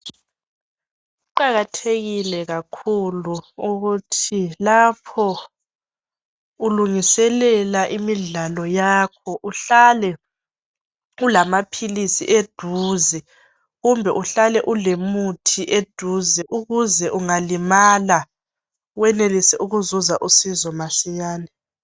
Kuqakathekile kakhulu ukuthi lapho ulungiselela imidlalo yakho uhlale ulamaphilisi eduze kumbe uhlale ulomuthi eduzane ukuze ungalimala wenelise ukuzuza usizo masinyane.